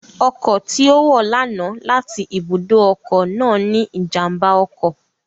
Ọkọ̀ tí ó wọ̀ lánàá láti ibùdó ọkọ̀ náà ní ìjàmbá ọkọ̀